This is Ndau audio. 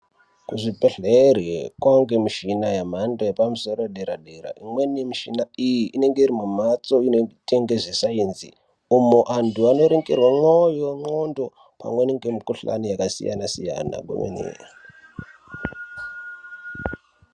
Kuzvibhedhlere kwaange nemichina yemhando yepamusoro yedera dera imweni yemishina iyi inenge iri mumhatso inoita nezvesainzi umu anthu anoerengerwe moyo ndxondo amweni nemikuhlani yakasiyana siyana kwemene.